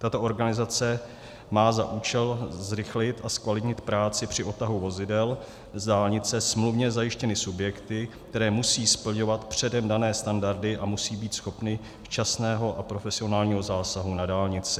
Tato organizace má za účel zrychlit a zkvalitnit práci při odtahu vozidel z dálnice smluvně zajištěnými subjekty, které musí splňovat předem dané standardy a musí být schopny včasného a profesionálního zásahu na dálnici.